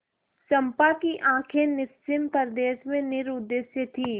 चंपा की आँखें निस्सीम प्रदेश में निरुद्देश्य थीं